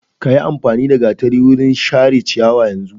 Ka yiamfani da gatari wajen share ciyawa yanzu!